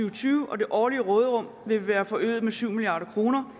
og tyve og det årlige råderum vil være forøget med syv milliard kroner